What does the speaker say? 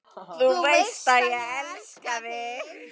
Þú veist að ég elska þig.